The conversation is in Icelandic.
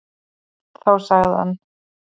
Þá sagði hann: